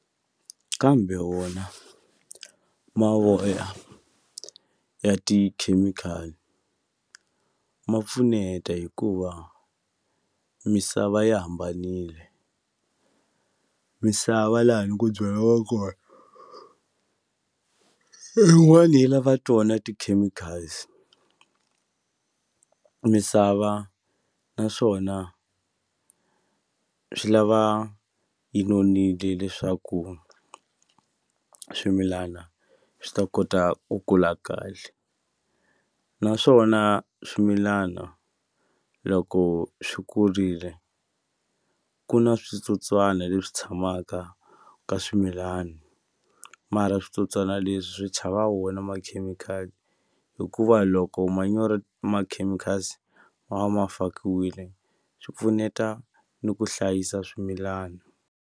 Kambe wona mavoya ya tikhemikhali ma pfuneta hikuva misava yi hambanile misava lani ku byariwa kona yin'wani yi lava tona ti-chemicals misava naswona swi lava yi nonile leswaku swimilana swi ta kota ku kula kahle naswona swimilana loko swi kurile ku na switsotswana leswi tshamaka ka swimilani mara switsotswana leswi swi chava wona makhemikhali hikuva loko manyoro ma-chemicals ma va ma fakiwile swi pfuneta ni ku hlayisa swimilana.